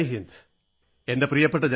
എല്ലാ എൻസിസി കേഡറ്റുകളും ജയ് ഹിന്ദ് സർ